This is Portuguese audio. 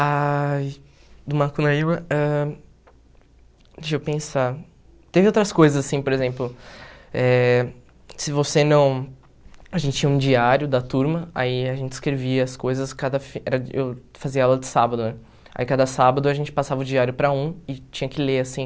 Ai, do Macunaíma, ãh deixa eu pensar, teve outras coisas assim, por exemplo, eh se você não, a gente tinha um diário da turma, aí a gente escrevia as coisas, cada era eu fazia aula de sábado né, aí cada sábado a gente passava o diário para um e tinha que ler assim,